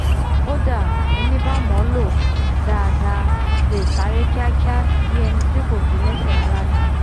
kódà ení bá mọ̀ ọ́ lò dáadáa lè sáré kíakía bí eni tí kò gé lẹ́sẹ̀ rárá ni